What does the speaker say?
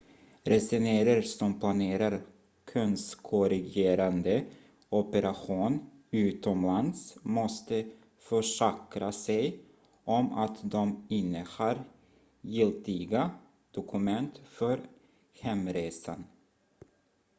resenärer som planerar könskorrigerande operation utomlands måste försäkra sig om att de innehar giltiga dokument för hemresan